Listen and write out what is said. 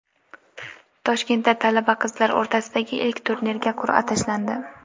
Toshkentda talaba qizlar o‘rtasidagi ilk turnirga qur’a tashlandi.